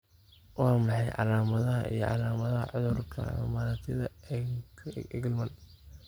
Waa maxay calaamadaha iyo calaamadaha cudurka Camurati Engelmann?